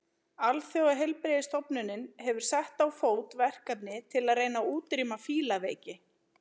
Alþjóðaheilbrigðisstofnunin hefur sett á fót verkefni til að reyna að útrýma fílaveiki.